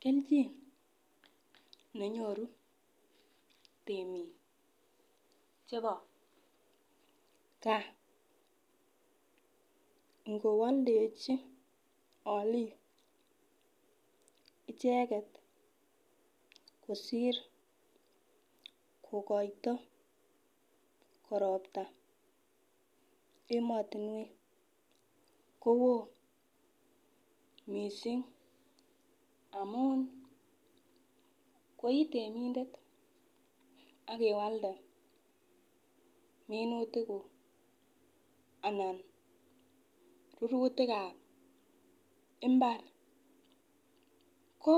Keljin nenyoru temik chebo gaa ikowoldechi olik icheket kosir kokoito koropta emotunwek kowoo missing amun koitemindet ak iwalde minutik kuk ana rurutikab imbar ko